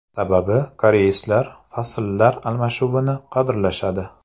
Sababi koreyslar fasllar almashinuvini qadrlashadi.